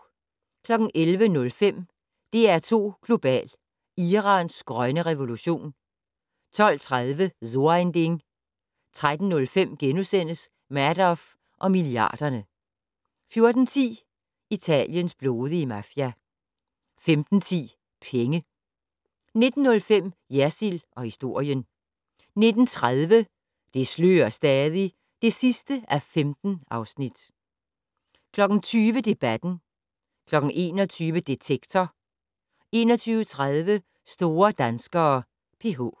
11:05: DR2 Global: Irans grønne revolution 12:30: So ein Ding 13:05: Madoff og milliarderne * 14:10: Italiens blodige mafia 15:10: Penge 19:05: Jersild & historien 19:30: Det slører stadig (15:15) 20:00: Debatten 21:00: Detektor 21:30: Store danskere: PH